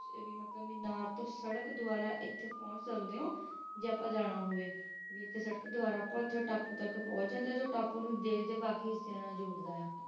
ਤੇ ਮੀਨਾਰ ਤੋਂ ਸੜਕ ਪੁਹੰਚ ਸਕਦੇ ਹੋ ਜੇ ਜਾਣਾ ਹੋਵੇ ਟਾਪੂ ਤਕ ਪੁਹੰਚ ਸਕਦੇ ਹੋ ਜੋ ਟਾਪੂ ਨੂੰ ਬਾਕੀ ਹਿੱਸੇ ਨਾਲ ਜੋੜਦਾ ਹੈ